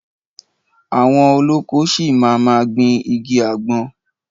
Àwọn olóko ṣi máa ma gbìn igi àgbọn.